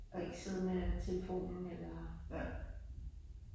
Og ikke sidde med telefonen eller